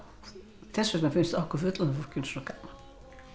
þess vegna finnst okkur fullorðna fólkinu svo gaman